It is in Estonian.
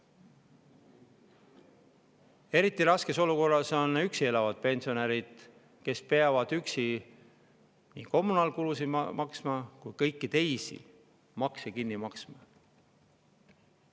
Eriti raskes olukorras on üksi elavad pensionärid, kes peavad üksi kommunaalkulusid ja ka kõiki teisi makse maksma.